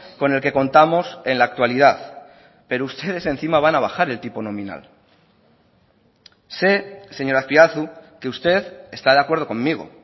con el que contamos en la actualidad pero ustedes encima van a bajar el tipo nominal sé señor azpiazu que usted está de acuerdo conmigo